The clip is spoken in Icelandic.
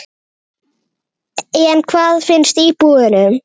En hvað finnst íbúunum?